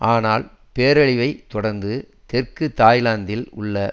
ஆனால் பேரழிவை தொடர்ந்து தெற்கு தாய்லாந்தில் உள்ள